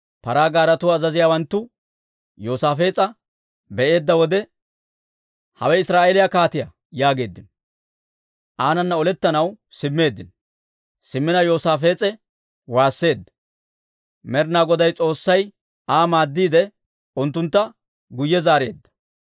Paraa gaaretuwaa azaziyaawanttu Yoosaafees'a be'eedda wode, «Hawe Israa'eeliyaa kaatiyaa» yaageeddino. Aanana olettanaw simmeeddino. Yoosaafees'e waasseedda; Med'inaa Goday S'oossay Aa maaddiide, unttuntta guyye zaareedda.